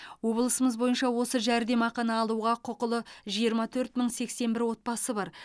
облысымыз бойынша осы жәрдемақыны алуға құқылы жиырма төрт мың сексен бір отбасы бар